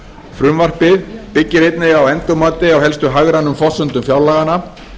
frumvarpið byggir einnig á endurmati á helstu hagrænum forsendum fjárlaganna